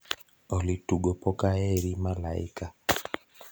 olly tugo poka aheri malaika